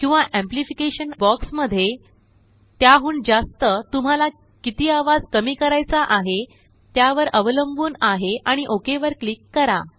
किंवा amplification box मध्येत्याहून जास्त तुम्हाला किती आवाज कमी करायचा आहे त्यावर अवलंबून आहे आणि ओक वरक्लिक करा